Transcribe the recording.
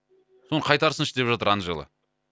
соны қайтарсыншы деп жатыр анжела